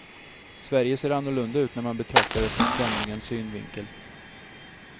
Sverige ser annorlunda ut när man betraktar det från främlingens synvinkel.